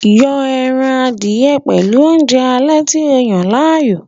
Yon ẹran adìẹ pẹ̀lú oúnjẹ alẹ́ tí o yàn láàyò